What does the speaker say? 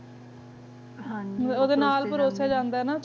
ਹਨਾ ਜੀ ਆਦੀ ਨਾਲ ਪਰੋਸਿਆ ਜਾਂਦਾ ਆਯ ਨਾ ਚਟਨੀ ਪਾਵੋਦਰ ਆਚਾਰ ਦੇ ਨਾਲ